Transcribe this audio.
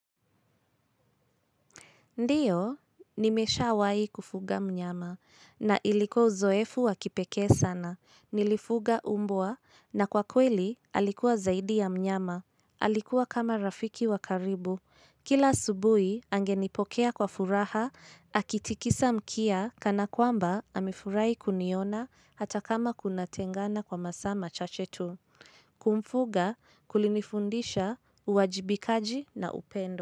Ndiyo, nimeshawai kufuga mnyama na ilikuwa uzoefu wa kipeke sana. Nilifuga mbwa na kwa kweli alikuwa zaidi ya mnyama. Alikuwa kama rafiki wakaribu. Kila asubuhi, angenipokea kwa furaha, akitikisa mkia kana kwamba amifurahi kuniona hata kama kunatengana kwa masaa machache tu. Kumfuga, kulinifundisha, uwajibikaji na upendo.